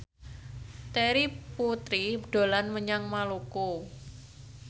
Terry Putri dolan menyang Maluku